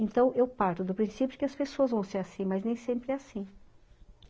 Então, eu parto do princípio que as pessoas vão ser assim, mas nem sempre é assim.